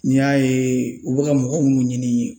N'i y'a ye u bɛ ka mɔgɔ mun ɲini